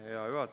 Hea juhataja!